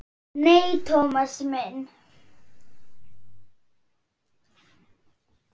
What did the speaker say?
Nei, Thomas minn.